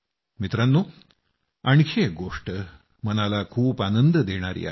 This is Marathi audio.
मित्रांनो आणखी एक गोष्ट मनाला खूप आनंद देणारी आहे